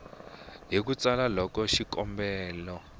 hi ku tsala loko xikombelo